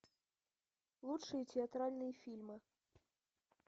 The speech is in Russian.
лучшие театральные фильмы